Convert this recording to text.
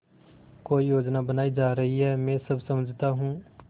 कोई योजना बनाई जा रही है मैं सब समझता हूँ